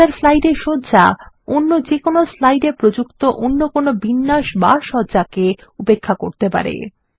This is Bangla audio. মাস্টার স্লাইড এর সজ্জা অন্য যেকোনো স্লাইড এ প্রযুক্ত কোনো বিন্যাস বা সজ্জাকে উপেক্ষা করতে পারে